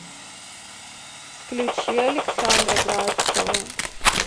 включи александра градского